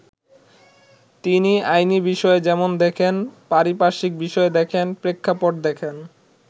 তিনি আইনি বিষয় যেমন দেখেন, পারিপার্শ্বিক বিষয় দেখেন, প্রেক্ষাপট দেখেন।